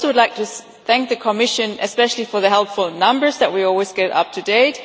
But I would also like to thank the Commission, especially for the helpful numbers that we always get up-to-date.